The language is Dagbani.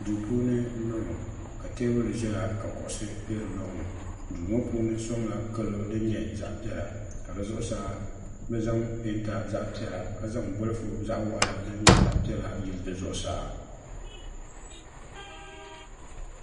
duu puuni m-bɔŋɔ ka teebuli ʒiya ka kuɣisi be di lɔŋ ni duu ŋɔ puuni sɔŋla kalo din nyɛ zaɣ' piɛla ka di zuɣusaa bɛ zaŋ peenta zaɣ' piɛla ka zaŋ bɔlifu zaɣ' waɣala din nyɛ zaɣ' piɛla n-yili di zuɣusaa